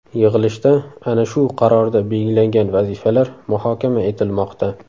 Yig‘ilishda ana shu qarorda belgilangan vazifalar muhokama etilmoqda.